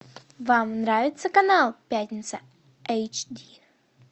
вам нравится канал пятница эйч ди